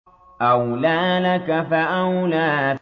أَوْلَىٰ لَكَ فَأَوْلَىٰ